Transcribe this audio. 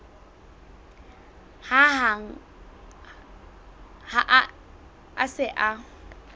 hang ha a se a